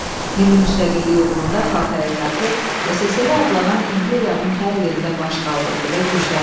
Milli müstəqillik uğrunda xalq hərəkatı SSRİ adlanan imperiyanın hər yerində baş qaldırdı və gücləndi.